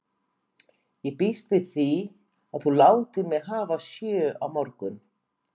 Ég býst þá við því, að þú látir mig hafa sjö á morgun.